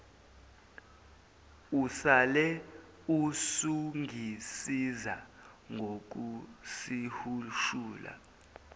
usale usungisiza ngokusihushula